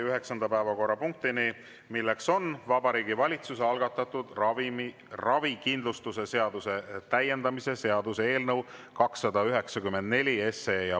Üheksas päevakorrapunkt on Vabariigi Valitsuse algatatud ravikindlustuse seaduse täiendamise seaduse eelnõu 294 esimene lugemine.